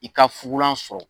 I ka fugulan sɔrɔ.